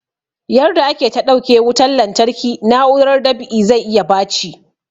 Yarda ake ta ɗauke wutan lantarki na'urar dab'i zai iya baci